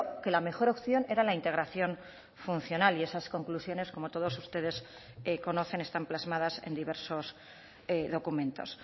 que la mejor opción era la integración funcional y esas conclusiones como todos ustedes conocen están plasmadas en diversos documentos